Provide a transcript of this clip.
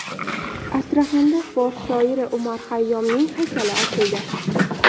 Astraxanda fors shoiri Umar Xayyomning haykali ochildi.